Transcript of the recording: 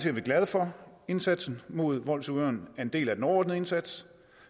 er vi glade for indsatsen mod voldsudøveren er en del af den overordnede indsats